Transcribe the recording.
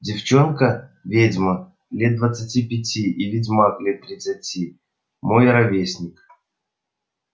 девчонка ведьма лет двадцати пяти и ведьмак лет тридцати мой ровесник